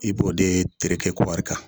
I b'o de tereke kɔri kan